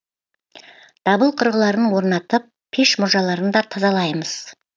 дабыл құрылғыларын орнатып пеш мұржаларын да тазалаймыз